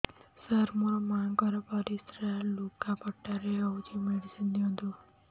ସାର ମୋର ମାଆଙ୍କର ପରିସ୍ରା ଲୁଗାପଟା ରେ ହଉଚି ମେଡିସିନ ଦିଅନ୍ତୁ